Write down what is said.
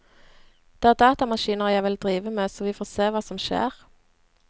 Det er datamaskiner jeg vil drive med, så vi får se hva som skjer.